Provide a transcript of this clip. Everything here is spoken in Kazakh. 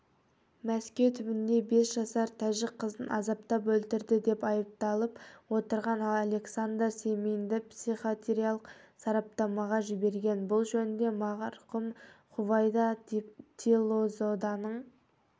мәскеу түбінде бес жасар тәжік қызын азаптап өлтірді деп айыпталып отырған александр семинді психиатриялық сараптамаға жіберген бұл жөнінде марқұм хувайда тиллозоданың